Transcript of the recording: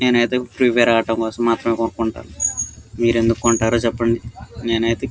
నేనైతే Free Fire ఆడడం కోసం మాత్రమే కొంటా మీరు ఎందుకు కొంటారో చెప్పండి. నేనైతే --